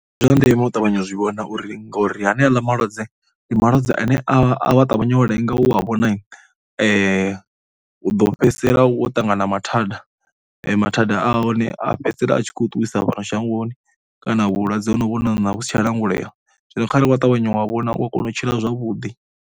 Ndi zwa ndeme u ṱavhanya u zwi vhona uri ngori haneaḽa malwadze, ndi malwadze ane a a ṱavhanya u lenga u a vhona u ḓo fhedzisela u wo ṱangana na mathanda. Mathada a hone a fhedzisela a tshi khou ṱuwisa fhano shangoni kana vhulwadze ho no ṋaṋa vhu si tshi a langulea zwino kharali wa ṱavhanya wa vhona u ya kona u tshila zwavhuḓi.